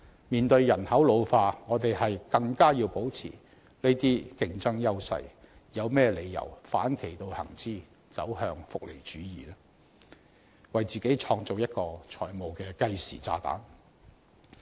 面對人口老化，我們更要保持這些競爭優勢，有何理由要反其道而行之，走向福利主義，為自己製造一個財務計時炸彈呢？